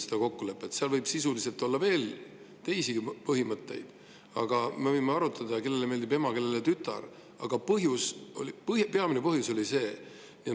Seal võis olla sisuliselt veel teisigi põhimõtteid – me võime arutada, kellele meeldib ema, kellele tütar –, aga peamine põhjus oli see.